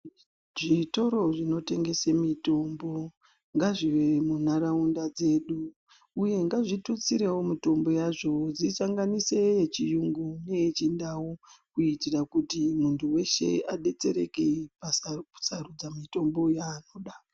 Zvitoro zvinotengesa mitombo ngazvive munharaunda dzedu uye ngazvitutsirewio mitombo yazvovo dzisanganise yechiyungu neyechindau kuitira kuti muntu weshe abetsereke pakusarudza mitombo yanoda